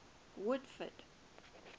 woodford